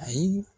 Ayi